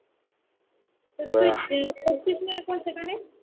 তাহলে তুই করছিস না এখন সেখানে